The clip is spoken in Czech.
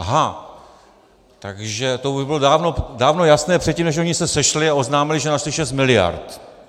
Aha, takže to už bylo dávno jasné předtím, než oni se sešli a oznámili, že našli šest miliard.